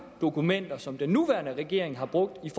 dokumenter som den nuværende regering har brugt i